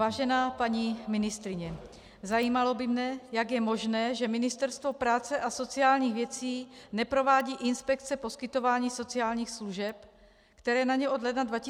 Vážená paní ministryně, zajímalo by mě, jak je možné, že Ministerstvo práce a sociálních věcí neprovádí inspekce poskytování sociálních služeb, které na ně od ledna 2015 přešly.